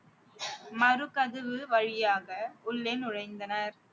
மறு கதவு வழியாக உள்ளே நுழைந்தனர்